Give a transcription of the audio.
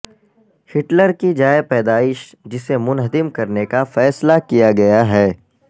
Hitler کی جائے پیدائش جسے منہدم کرنے کا فیصلہ کیا گیا ہے